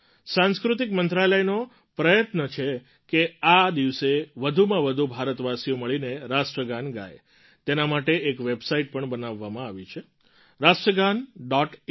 સાંસ્કૃતિક મંત્રાલયનો પ્રયત્ન છે કે આ દિવસે વધુમાં વધુ ભારતવાસીઓ મળીને રાષ્ટ્રગાન ગાય તેના માટે એક વેબસાઇટ પણ બનાવવામાં આવી છે રાષ્ટ્રગાન ડૉટ ઇન